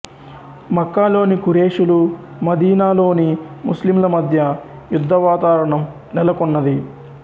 మక్కా లోని ఖురేషులు మదీనా లోని ముస్లింల మధ్య యుధ్ధవాతావరణం నెలకొన్నది